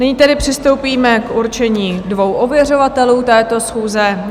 Nyní tedy přistoupíme k určení dvou ověřovatelů této schůze.